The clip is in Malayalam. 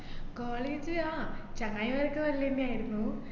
college ആ ചങ്ങായിമാരൊക്കെ നല്ലെന്നെയായിരുന്നു